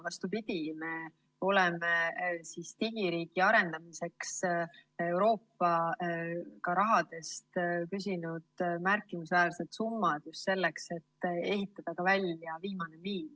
Vastupidi, me oleme digiriigi arendamiseks küsinud Euroopa rahast märkimisväärseid summasid, just selleks et ehitada välja ka viimane miil.